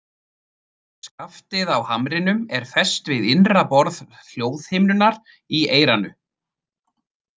Skaftið á hamrinum er fest við innra borð hljóðhimnunnar í eyranu.